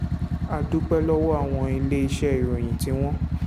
a dúpẹ́ lọ́wọ́ àwọn iléeṣẹ́ ìròyìn tí wọ́n